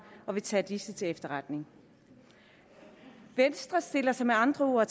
og vil tage disse til efterretning venstre stiller sig med andre ord